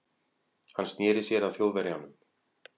Hann sneri sér að Þjóðverjanum.